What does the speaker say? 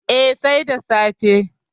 Eh, sai da safe